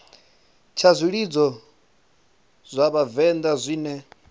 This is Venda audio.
tsha zwilidzo zwa vhavenḓa zwine